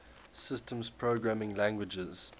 systems programming languages